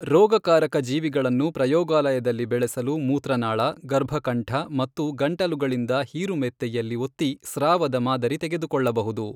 ರೋಗಕಾರಕ ಜೀವಿಗಳನ್ನು ಪ್ರಯೋಗಾಲಯದಲ್ಲಿ ಬೆಳೆಸಲು ಮೂತ್ರನಾಳ, ಗರ್ಭಕಂಠ ಮತ್ತು ಗಂಟಲುಗಳಿಂದ ಹೀರುಮೆತ್ತೆಯಲ್ಲಿ ಒತ್ತಿ ಸ್ರಾವದ ಮಾದರಿ ತೆಗೆದುಕೊಳ್ಳಬಹುದು.